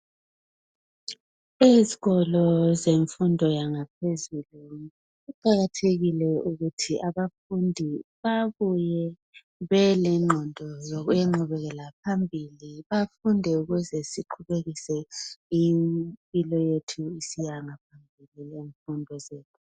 Esikolo semfundo yaphezulu kuqakathekile ukuthi abafundi bebuye belenqondo yengqubekeoa phambi ukuze baqhube izifundo zabo besiyaphambili.